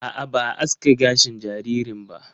A'a, ba a aske gashin jaririn ba.